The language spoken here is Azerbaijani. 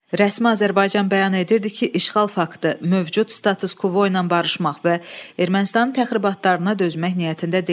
Rəsmi Azərbaycan bəyan edirdi ki, işğal faktı mövcud status-kvoyla barışmaq və Ermənistanın təxribatlarına dözmək niyyətində deyil.